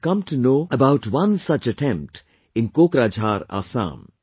I have come to know about one such attempt in Kokrajhar, Assam